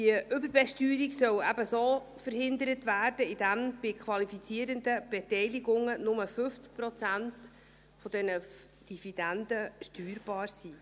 Diese Überbesteuerung soll eben verhindert werden, indem bei qualifizierenden Beteiligungen nur 50 Prozent dieser Dividenden steuerbar sind.